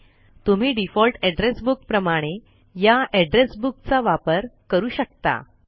तुम्ही default address book प्रमाणे या एड्रेस बुक चा वापर करू शकता